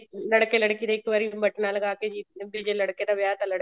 ਲੜਕੇ ਲੜਕੀ ਦੇ ਇੱਕ ਵਾਰੀ ਬਟਨਾ ਲਗਾ ਕੇ ਵੀ ਜੇ ਲੜਕੇ ਦਾ ਵਿਆਹ ਹੈ ਤਾਂ ਲੜਕੇ ਦੇ